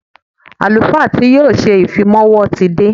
Àlùfáà tí yóò ṣe ìfimáwo ti dé.